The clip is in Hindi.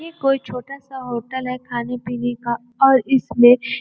ये कोई छोटा सा होटल है खाने पीने का और इसमें --